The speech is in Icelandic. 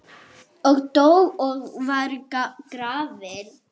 og dó og var grafinn